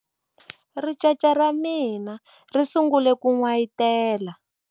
ricece ra mina ri sungule ku n'wayitela